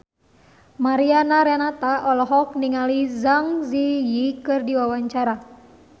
Mariana Renata olohok ningali Zang Zi Yi keur diwawancara